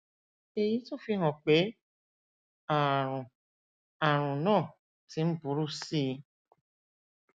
èyí tún fi hàn pé ààrùn ààrùn náà ti ń burú sí i